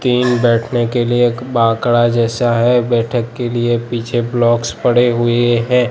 तीन बैठने के लिए एक बाकड़ा जैसा है बैठक के लिए पीछे ब्लॉक्स पड़े हुए हैं।